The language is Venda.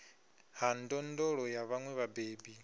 ha ndondolo ya vhaṅwe vhabebi